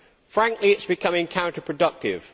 Frankly, it is becoming counterproductive.